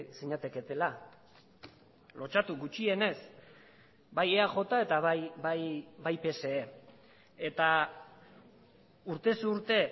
zinateketela lotsatu gutxienez bai eaj eta bai pse eta urtez urte